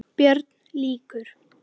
BÖRN LÝKUR